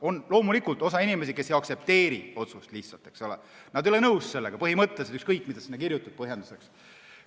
On loomulikult inimesi, kes lihtsalt ei aktsepteeri otsust, nad ei ole sellega põhimõtteliselt nõus, ükskõik, mis sa sinna põhjenduseks kirjutad.